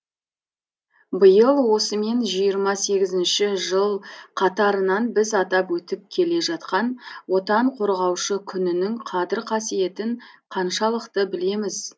биыл осымен жиырма сегізінші жыл қатарынан біз атап өтіп келе жатқан отан қорғаушы күнінің қадір қасиетін қаншалықты білеміз